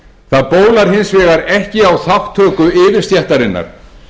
það bólar hins vegar ekki á þátttöku yfirstéttarinnar